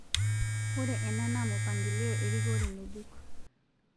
Ore ena naa mupangilio erikore ng'ejuk